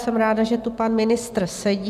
Jsem ráda, že tu pan ministr sedí.